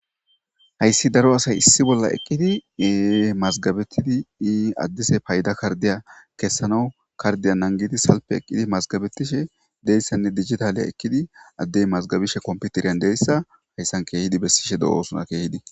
hayssi daro asay issi bolla eqqidi mazgabetidi addise payda kardiya kessanawu kardiya nangidi salpe eqqidi mazgabetishe deyssenne digitaleya ekkidi addey mazgabishe komputeriyan deyssa hayssan keehidi bessishe do7oosona keehidi